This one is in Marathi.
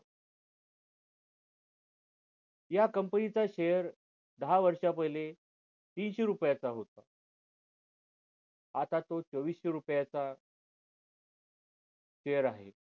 या company च share दहा वर्ष पहिले तीनशे रुपये च होता आता तो चोविशे रुपया चा share आहे